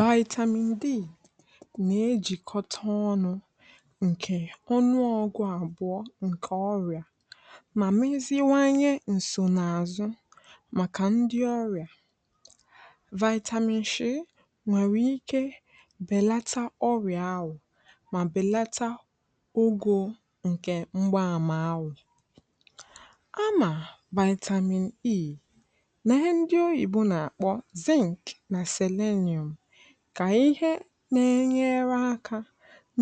Vitamin D na-ejikọ ọnụ nke ọma na ọnụ ọgwụ abụọ nke ọrịa, ma mezie nsọnaazụ maka ndị ọrịa vitamin D si n’ahụ̀ habelata. Ọ na-enyere aka belata ọrịa ahụ ma belata ogo nke mgbaàmà awụ. Vitamin E na Selenium bụ ihe ndị na-enyere aka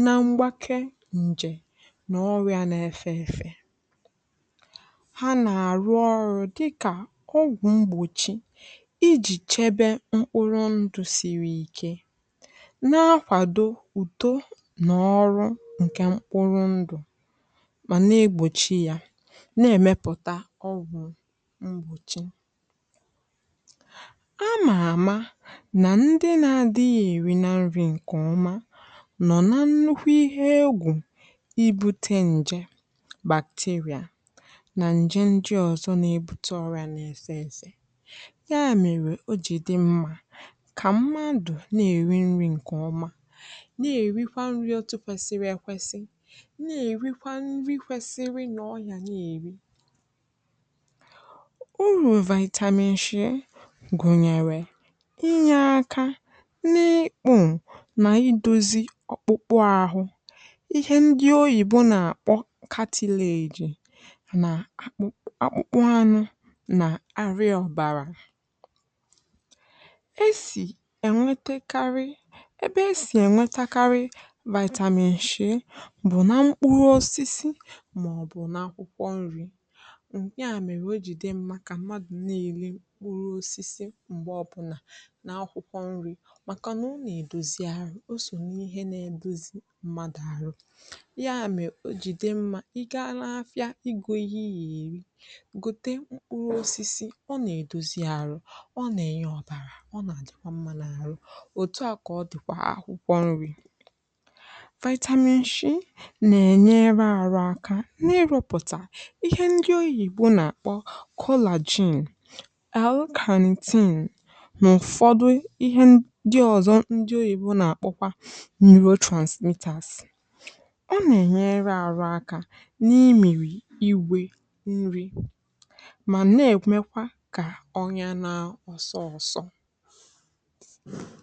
na mgbake nke nje na ọrịa na-efe efe. Ha na-arụ ọrụ dị ka ọgwụ mgbọchi, iji chebe mkpụrụ ndụ siri ike, na-akwado ụ̀dọ na ọrụ nke mkpụrụ ndụ, ma na-egbochi ya imepụta ọgwụ mgbọchi. Ndị na-adịghị eri nri nke ọma nọ n’ihe ize ndụ ịnara nje bacteria na nje ndị ọzọ na-ebute ọrịa. N’ihi ya, ọ dị mma ka mmadụ na-eri nri ọma, na-eri nri kwụsiri ike, nke kwesiri. Ọrịa na-eri inyé aka n’ikpị na idozi ọkpụkpụ ahụ. Ihe ndị Oyibo na-akpọ calcium na akpụkpụ anụ bụ ihe dị mkpa. A na-enweta vitamin D na mkpụrụ osisi ma ọ bụ na akwụkwọ nri. N’ihi ya, ọ dị mma ka mmadụ na-elekọta akwụkwọ nri ya, maka na ọ na edozi arụ, ọ bụkwa ihe na-eme ka mmadụ dịrị mma. Gaa n’ahịa, gụọ ihe ị ga-eri. Gụọte mkpụrụ osisi ọ na edozi arụ, ọ na-enye ọ̀dàrà, ọ na-ajikwa mma n’ọrụ ahụ. Akwụkwọ nri na vitamin dị iche iche na-enyere aka na arụ aka n’ịrụpụta ihe ndị Oyibo na-akpọ collagen na neurotransmitters. Ha na-enyere aka n’ịmịrị igwe nri, ma na-ekwomekwa ka ọnya n’osọ dịrị mma.